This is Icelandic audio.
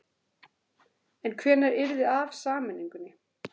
En hvenær yrði af sameiningunni?